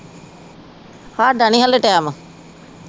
ਹਾਡਾ ਨਹੀਂ ਹਲੇ ਟੈਮ